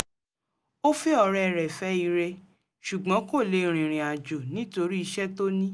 ó fẹ́ ọ̀rẹ́ re fẹ́ ire ṣùgbọ́n kò lè rìnrìn àjò nítorí iṣẹ́ tó ní